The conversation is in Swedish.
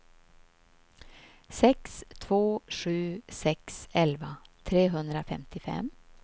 sex två sju sex elva trehundrafemtiofem